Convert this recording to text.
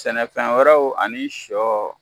Sɛnɛfɛn wɛrɛw ani sɔ